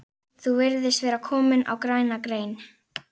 Þú virðist vera kominn á græna grein